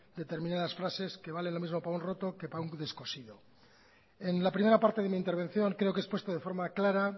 determinadas frases que vale lo mismo para un roto que para un descosido en la primera parte de mi intervención creo que he expuesto de forma clara